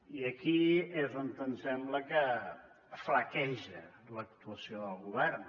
i aquí és on em sembla que flaqueja l’actuació del govern